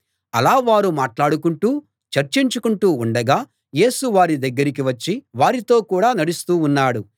అలా వారు మాట్లాడుకుంటూ చర్చించుకుంటూ ఉండగా యేసు వారి దగ్గరికి వచ్చి వారితో కూడా నడుస్తూ ఉన్నాడు